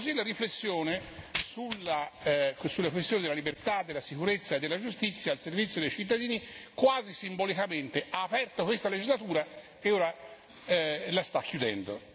La riflessione sulla questione della libertà, della sicurezza e della giustizia al servizio dei cittadini quasi simbolicamente ha aperto questa legislatura e ora la sta chiudendo.